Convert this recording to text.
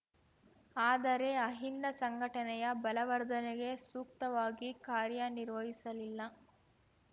ಆದರೆ ಅಹಿಂದ ಸಂಘಟನೆಯ ಬಲವರ್ಧನೆಗೆ ಸೂಕ್ತವಾಗಿ ಕಾರ್ಯನಿರ್ವಹಿಸಲಿಲ್ಲ